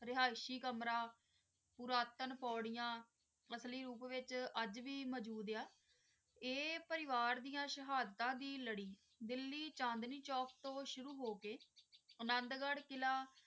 ਰਿਹਾਸ਼ੀ ਕਮਰਾ ਬਰਤਨ ਪੋਰੀਆਂ ਅਸਲੀ ਰੂਪ ਵਿਚ ਅਜੇ ਵੀ ਮਜੂਦ ਹੇਯਾ ਆਏ ਪਰਿਵਾਰ ਦੀ ਸ਼ਹਾਦਤਾਂ ਦੀ ਲੜੀ ਦਿੱਲੀ ਚਾਂਦਨੀ ਚੌਕ ਤੋਂ ਸ਼ੁਰੂ ਹੋ ਕ ਅਨੰਦਗੜ੍ਹ ਕਿੱਲਾ